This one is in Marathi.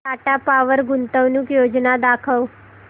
टाटा पॉवर गुंतवणूक योजना दाखव